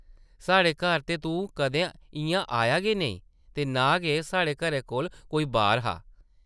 साढ़े घर ते तूं कदें इʼयां आया गै नेईं ते नां गै साढ़े घरै कोल कोई ‘बारʼ हा ।